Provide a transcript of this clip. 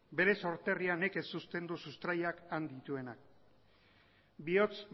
bere sorterrian nekez uzten du sustraiak han dituenak bihotz